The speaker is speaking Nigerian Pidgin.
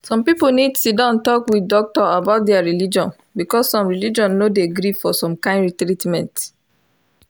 some people need siddon talk with doctor about thier religion because some religion no dey gree for some kind treatment.